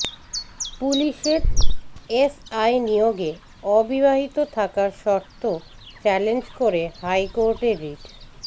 পুলিশের এসআই নিয়োগে অবিবাহিত থাকার শর্ত চ্যালেঞ্জ করে হাইকোর্টে রিট